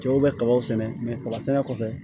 Cɛw bɛ kabaw sɛnɛ kaba sɛnɛ kɔfɛ